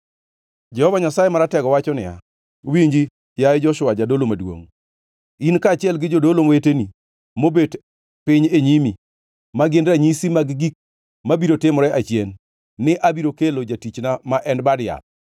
“Jehova Nyasaye Maratego wacho niya, ‘Winji, yaye Joshua jadolo maduongʼ, in kaachiel gi jodolo weteni mobet piny e nyimi, ma gin ranyisi mag gik mabiro timore achien; ni abiro kelo jatichna ma en Bad yath.